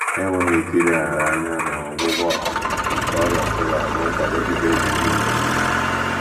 Enweghị ike ileghara anya na ọgwụgwọ um nke ọrịa shuga bụ nkwado sitere na ezinụlọ